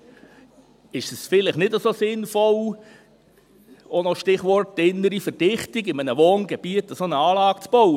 Gerade dort ist es vielleicht nicht so sinnvoll – auch noch das Stichwort innere Verdichtung –, in einem Wohngebiet eine solche Anlage zu bauen.